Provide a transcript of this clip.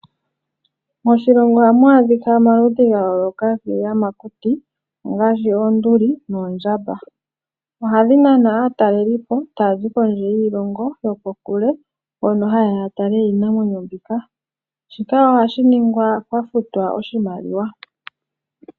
Moshilongo ohamwaadhika omaludhi gayooloka giiyamakuti. Ngaashi oonduli, noondjamba ohadhinana aatalelipo taazi kondje yiilongo yokokule, mpono hayeya yatale iinamwenyo mbika. Shika ohashiningwa pwafutwa oshimaliwa.